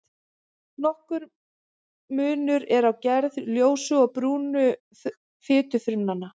Nokkur munur er á gerð ljósu og brúnu fitufrumnanna.